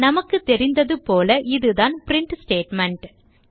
நமக்கு தெரிந்ததுபோல இதுதான் பிரின்ட் ஸ்டேட்மெண்ட்